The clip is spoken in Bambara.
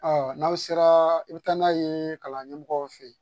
Ɔ n'aw sera i bɛ taa n'a ye kalanden mɔgɔ fɛ yen